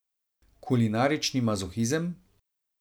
Kulinarični mazohizem?